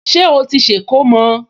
Ṣé ó ti ṣe ìkómọ?